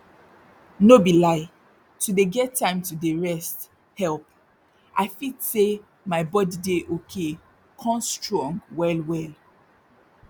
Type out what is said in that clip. no be lie to dey get time to dey rest help i fit say my body dey okay con strong well well